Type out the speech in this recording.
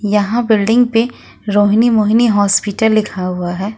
यहां बिल्डिंग पे रोहिणी मोहिनी हॉस्पिटल लिखा हुआ है।